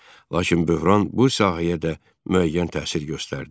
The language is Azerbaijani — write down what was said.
Lakin böhran bu sahəyə də müəyyən təsir göstərdi.